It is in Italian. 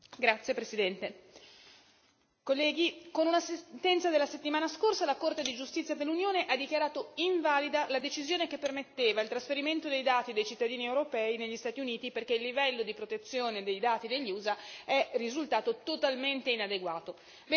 Signora Presidente, onorevoli colleghi, con una sentenza della settimana scorsa, la Corte di giustizia dell'Unione ha dichiarato invalida la decisione che permetteva il trasferimento dei dati dei cittadini europei negli Stati Uniti, perché il livello di protezione dei dati degli USA è risultato totalmente inadeguato.